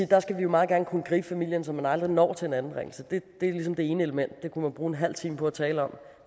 der skal vi jo meget gerne kunne gribe familien så man aldrig når til en anbringelse det er ligesom det ene element det kunne man bruge en halv time på at tale om